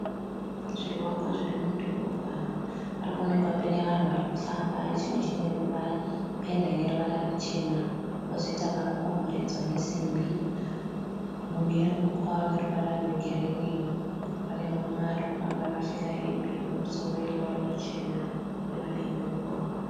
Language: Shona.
Zvivakwa zviri mudhorobha. Pari kuonekwa paine vanhu vari kufamba. Chimwe chine penda ine ruvara ruchena. Pozoita makakomberedza nesimbi mune uswa hune ruvara rwegirini. Pane murume ari kufamba akapfeka hembe yekumusoro yeruvara ruchena. Ari padivi pemugwagwa.